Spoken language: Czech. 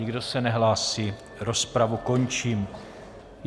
Nikdo se nehlásí, rozpravu končím.